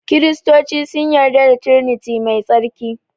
Kiristoci sun yarda da triniti mai tsarki